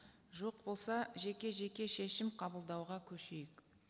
жоқ болса жеке жеке шешім қабылдауға көшейік